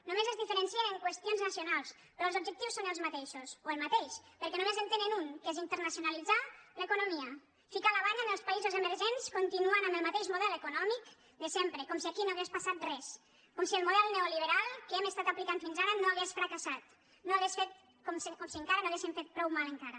només es diferencien en qüestions nacionals però els objectius són els mateixos o el mateix perquè només en tenen un que és internacionalitzar l’economia ficar la banya en els països emergents continuant amb el mateix model econòmic de sempre com si aquí no hagués passat res com si el model neoliberal que hem aplicat fins ara no hagués fracassat com si encara no haguéssim fet prou mal encara